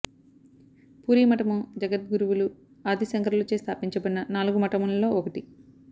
పూరీ మఠము జగద్గురువులు ఆది శంకరులచే స్థాపించబడిన నాలుగు మఠములలో ఒకటి